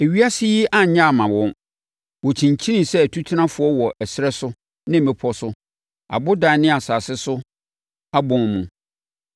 Ewiase yi annyɛ amma wɔn. Wɔkyinkyinii sɛ atutenafoɔ wɔ ɛserɛ so ne mmepɔ so, abodan ne asase so abɔn mu.